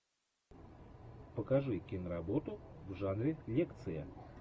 покажи киноработу в жанре лекция